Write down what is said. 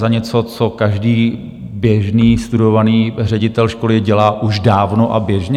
Za něco, co každý běžný studovaný ředitel školy dělá už dávno a běžně?